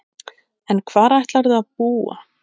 En hvar ætlarðu að búa?